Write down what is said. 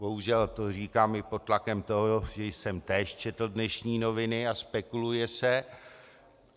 Bohužel to říkám i pod tlakem toho, že jsem též četl dnešní noviny, a spekuluje se.